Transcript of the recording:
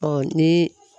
Ɔ ni